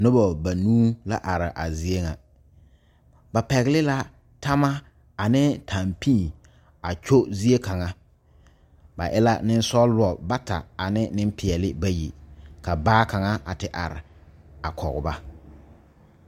Noba banuu la are a zie ŋa ba pɛgle la tama a ne tampii kyo zie kaŋa ba e la nensɔgla bata ane nenpeɛle bayi ka baa kaŋ te are a kɔge ba.